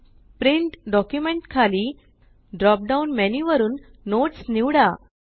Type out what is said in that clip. print document खाली drop down menu वरुन notes निवडा